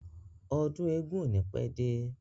Ọdún eégún ò ní pẹ́ dé.